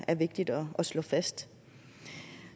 er vigtigt at slå fast